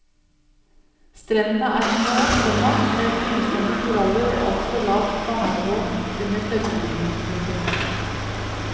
Strendene er små, komma med brysomme koraller og altfor lavt vannivå under tørketiden. punktum